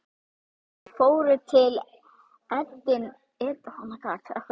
Þeir fóru til Edinborgar.